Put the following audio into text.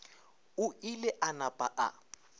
o ile a napa a